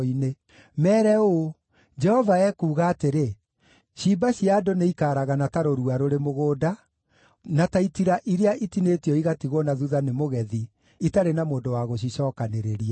Meere ũũ, “Jehova ekuuga atĩrĩ: “ ‘Ciimba cia andũ nĩikaragana ta rũrua rũrĩ mũgũnda, na ta itira iria itinĩtio igatigwo na thuutha nĩ mũgethi, itarĩ na mũndũ wa gũcicookanĩrĩria.’ ”